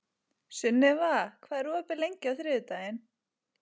Sunniva, hvað er opið lengi á þriðjudaginn?